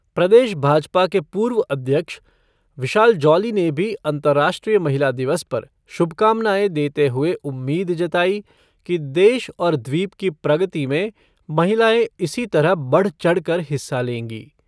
प्रदेश भाजपा के पूर्व अध्यक्ष विशाल जॉली ने भी अंतर्राष्ट्रीय महिला दिवस पर शुभकामनाएं देते हुए उम्मीद जताई कि देश और द्वीप की प्रगति में महिलाएँ इसी तरह बढ़-चढ़-कर हिस्सा लेंगी।